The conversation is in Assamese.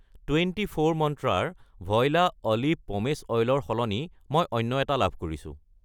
টুৱেণ্টি ফ'ৰ মন্ত্ৰা ৰ ভইলা অলিভ পমেচ অইল ৰ সলনি মই অন্য এটা লাভ কৰিছোঁ।